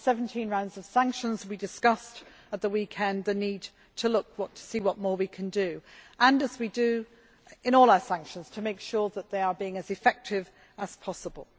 well. We have had 17 rounds of sanctions. We discussed at the weekend the need to see what more we can do and, as we do in all our sanctions, to make sure that they are being as effective as possible.